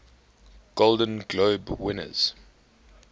golden globe winners